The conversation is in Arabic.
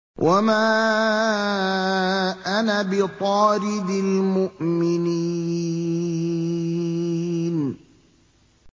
وَمَا أَنَا بِطَارِدِ الْمُؤْمِنِينَ